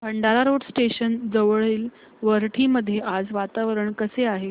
Bhandara road station जवळील वरठी मध्ये आज वातावरण कसे आहे